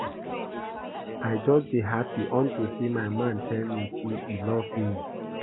I just dey happy unto say my man tell me say he love me